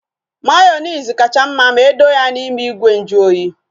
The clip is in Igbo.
Mayonezi kacha mma ma edo ya n'ime ìgwè nju oyi